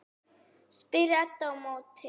spyr Edda á móti.